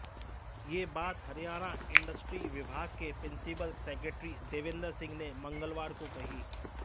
यह बात हरियाणा इंडस्ट्री विभाग के प्रिंसिपल सेक्रेटरी देवेंद्र सिंह ने मंगलवार को कही